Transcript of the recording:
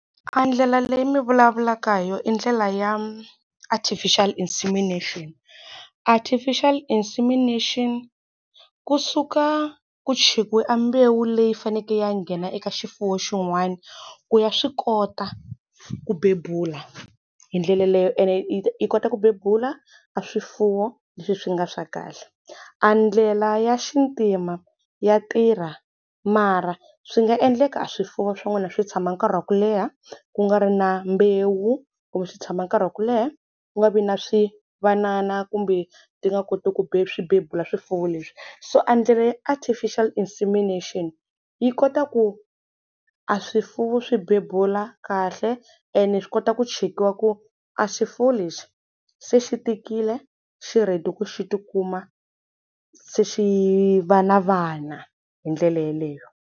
Andlela leyi mi vulavula hi yona i ndlela ya artificial insemination. Artificial insemination, kusuka ku chekiwe a mbewu leyi faneleke yi ya nghena eka xifuwo xin'wana, ku ya swi kota ku bebula. Hi ndlela leyo ene yi kota ku bebula a swifuwo leswi swi nga swa kahle. Andlela ya xintima ya tirha mara swi nga endleka a swifuwo swa n'wina swi tshama nkarhi wa ku leha ku nga ri na mbewu kumbe swi tshama nkarhi wa ku leha ku nga vi na swi vanana kumbe ti nga koti ku swi bebula swifuwo leswi. So endlela ya artificial insemination, yi kota ku aswifuwo swi bebula kahle ene swi kota ku chekiwa ku a swifuwo lexi se xi tikile, se swi ready ku xi ti kuma se xi va na vana hi ndlela yeleyo.